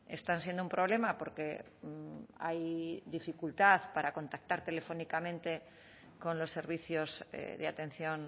están siendo un problema porque hay dificultad para contactar telefónicamente con los servicios de atención